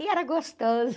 E era gostoso.